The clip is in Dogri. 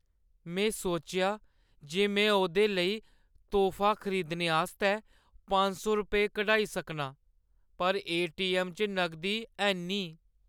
मैं सोचेआ जे मैं ओह्दे लेई तोह्फा खरीदने आस्तै पंज सौ रपेऽ कढाई सकनां। पर ए.टी.ऐम्म. च नगदी हैन्नी ।